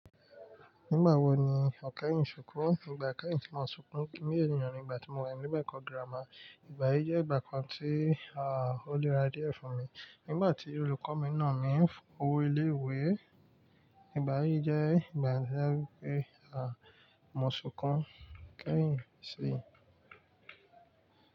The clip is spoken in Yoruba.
Nígbà wo ni o kẹ́yìn sunkún? Ìgbà kẹ́yìn tí mo sunkún kí ènìyàn ni ìgbà tí mo wà ní mon ekọ giramà. Ìgbà yìí jẹ́ ìgbà kan tí, ó le ra díẹ̀ fún mi. Nígbà tí olùkọ́ mi nà mí fun owó ilé ìwé. Ìgbà yìí jẹ́ ìgbà to je wípé, mo sunkún kẹ́yìn sí.